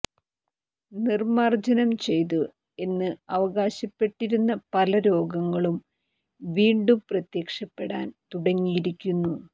നിർമാർജനം ചെയ്തു എന്ന് അവകാശപ്പെട്ടിരുന്ന പല രോഗങ്ങളും വീണ്ടും പ്രത്യക്ഷപ്പെടാൻ തുടങ്ങിയിരിക്കുന്നു